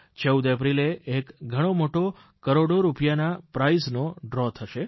14 એપ્રિલે એક ઘણોમોટો કરોડો રૂપિયાના પ્રાઇઝનો ડ્રો થશે